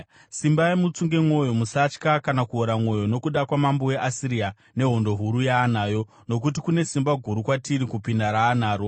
“Simbai mutsunge mwoyo. Musatya kana kuora mwoyo nokuda kwamambo weAsiria nehondo huru yaanayo, nokuti kune simba guru kwatiri kupinda raanaro.